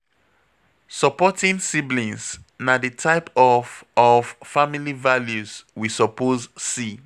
supporting siblings na the type of of family values we suppose see